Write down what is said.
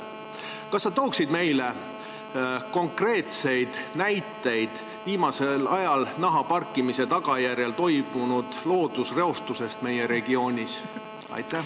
Kas sa tooksid meile konkreetseid näiteid viimasel ajal nahaparkimise tagajärjel toimunud loodusreostuse kohta meie regioonis?